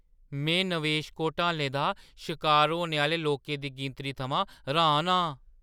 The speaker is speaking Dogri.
में नवेश घोटालें दा शकार होने आह्‌ले लोकें दी गिनतरी थमां र्‌हान आं।